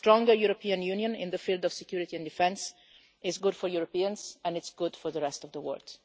A stronger European Union in the field of security and defence is good for Europeans and good for the rest of the world.